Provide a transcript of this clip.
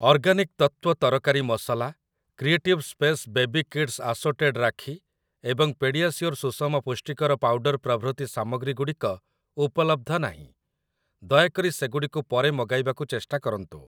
Organic Tattva ତରକାରୀ ମସଲା, creative space baby kids assorted rakhi ଏବଂ ପେଡିଆସିଓର ସୁସମ ପୁଷ୍ଟିକର ପାଉଡର୍ ପ୍ରଭୃତି ସାମଗ୍ରୀଗୁଡ଼ିକ ଉପଲବ୍ଧ ନାହିଁ, ଦୟାକରି ସେଗୁଡ଼ିକୁ ପରେ ମଗାଇବାକୁ ଚେଷ୍ଟା କରନ୍ତୁ ।